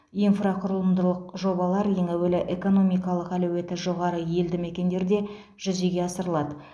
инфрақұрылымдылық жобалар ең әуелі экономикалық әлеуеті жоғары елді мекендерде жүзеге асырылады